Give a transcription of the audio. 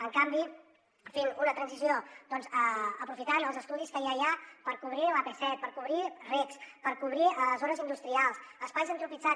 en canvi fent una transició doncs aprofitant els estudis que ja hi ha per cobrir l’ap set per cobrir recs per cobrir zones industrials espais antropitzats